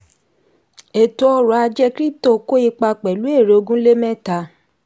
ètò ọrọ̀ ajé krípútò kó ipa pẹ̀lú èrè ogúnlémẹ́ta.